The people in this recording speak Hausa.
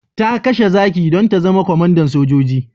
Ta kashe zaki don ta zama kwamandan sojoji.